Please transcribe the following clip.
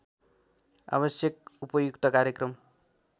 आवश्यक उपयुक्त कार्यक्रम